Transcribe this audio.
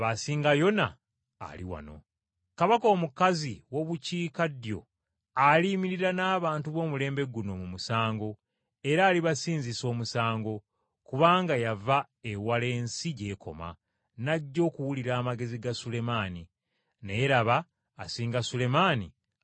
Era ku lunaku olw’okusalirako omusango, kabaka omukazi ow’omu bukiikaddyo alisaliza abantu ab’omulembe guno omusango okubasinga, kubanga yava ku nkomerero y’ensi okujja okuwuliriza amagezi ga Sulemaani. Naye laba asinga Sulemaani ali wano.